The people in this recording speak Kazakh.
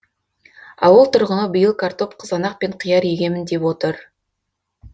ауыл тұрғыны биыл картоп қызанақ пен қияр егемін деп отыр